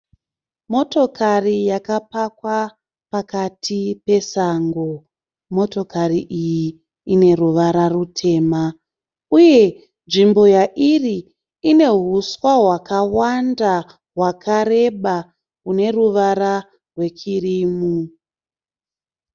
Motokari yakapakwa pakati pesango. Motokari iyi ine ruvara rutema uye nzvimbo yairi ine huswa hwakawanda hwakareba hune ruvara rwekirimu.